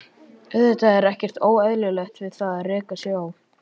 Auðvitað er ekkert óeðlilegt við það að reka sig á.